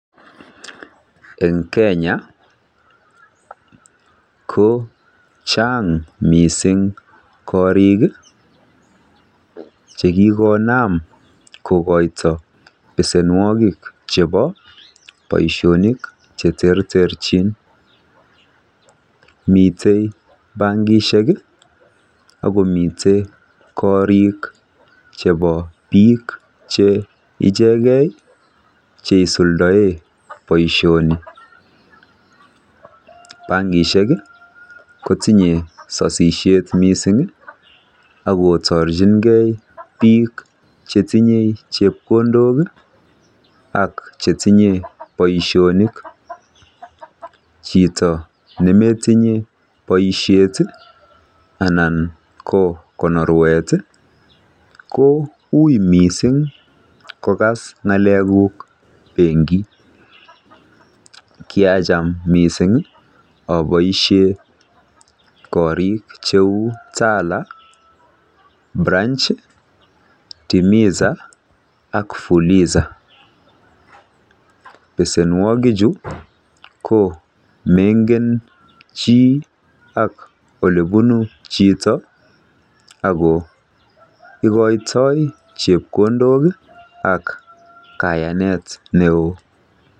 Eng kenya ko chang mising korik che kikonam kokoita besenwakik chebo boishonik che terterchin. Mitei bankishek ak komitei korik chebo biik che ichegei che isuldae boishoni. Bankishek ko tinyei sasisiet ak kotorchingei biik che tinyei chepkondok ak chetinyei boishonik. Chito ne matinyei boishet anan ko konorwet ko ui mising kokas ng'aleguk benki. Kiacham mising aboishe korik cheu, Tala, Branch, Timiza ak Fuliza. Besenwogichu ko mengen chii ak ole punu chito ak igoitoi besenwagik ak kayanet neo.